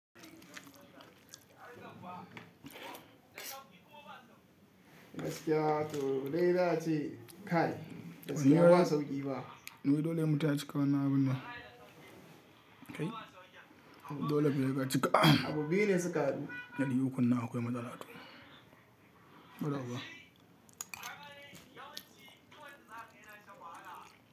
Gaskiya to dai za a ce kaɗai, da sunan wasu ƙi ba. Nuwi dole mu tashi kawo na gona. Kai? Dole mu je daga cika. Abu biyu ne suka ƙadu. Na yi hukuna akwai matsala tu. Gabaɗauwa.